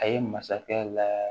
A ye masakɛ la